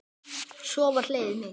Svo var hlegið mikið.